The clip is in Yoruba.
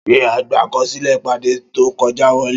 Ṣé àgbà akọsilẹ ìpàdé to kọjá wọlé?